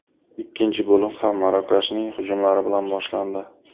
Ikkinchi bo‘lim ham Marokashning hujumlari bilan boshlandi.